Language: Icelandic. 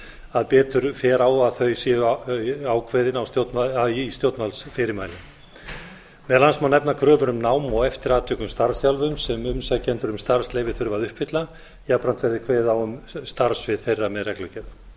að betur fer á að þau séu ákveðin í stjórnvaldsfyrirmælum meðal annars ná nefna kröfur um nám og eftir atvikum starfsþjálfun sem umsækjendur um starfsleyfi þurfa að uppfylla jafnframt verði kveðið á um starfssvið þeirra með reglugerð það